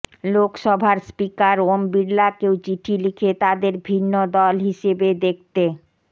লোকসভার স্পিকার ওম বিড়লাকেও চিঠি লিখে তাঁদের ভিন্ন দল হিসেবে দেখতে